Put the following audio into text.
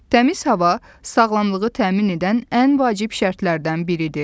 Təmiz hava sağlamlığı təmin edən ən vacib şərtlərdən biridir.